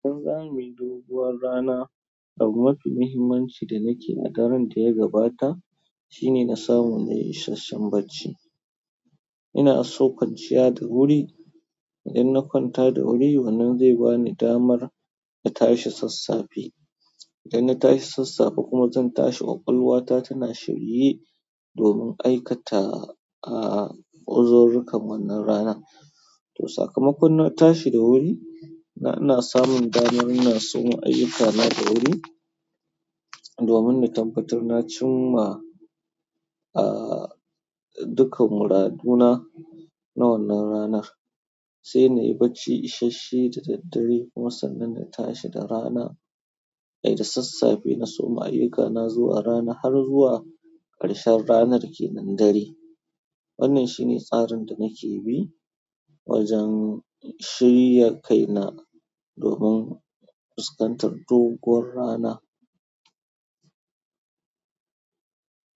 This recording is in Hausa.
In za mu yi doguwar rana, abu mafi muhimmanci da nake ke la'akarance gabata shine na sanu na yi isashen barci. Ina saukan ciyar da wuri, idan na kwanta da wuri wannan zai bani damar na tashi sassafe. Idan na tashi sassafe kuma zan tashi ƙwaƙwalwata tana shirye domin aikata, ah, uzururukan wannan rana. To sakamakon na tashi da wuri, na ina samun damar ina soma ayyukana da wuri, domin na tabbatar na cim ma, ah, duka muraduna na wannan ranar. Sai na yi bacci isashe da daddare kuma sannan in tashi da rana, ai da sassafe na soma ayyukana zuwa rana har zuwa ƙarshen ranar ke nan dare. Wannan shine tsarin da nake bi wajen shirya kaina domin fuskantar doguwar rana.